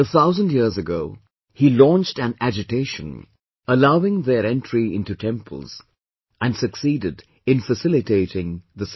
A thousand years ago, he launched an agitation allowing their entry into temples and succeeded in facilitating the same